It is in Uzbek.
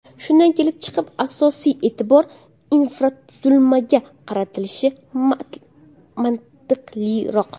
Shundan kelib chiqib, asosiy e’tibor infratuzilmaga qaratilishi mantiqliroq.